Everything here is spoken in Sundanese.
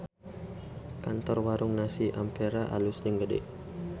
Kantor Warung Nasi Ampera alus jeung gede